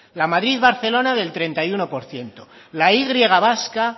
la madrid barcelona del treinta y uno por ciento la y vasca